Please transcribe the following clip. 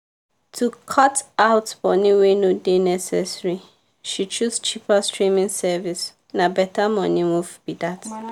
to cut out money wey no dey necessary she choose cheaper streaming service — na better money move be that.